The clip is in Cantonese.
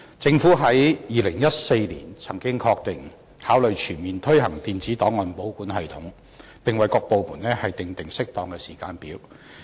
政府在2014年曾經確認會考慮全面推行電子檔案保管系統，並為各部門訂定適當的時間表。